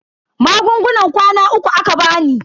Magungunan kwana uku aka bani.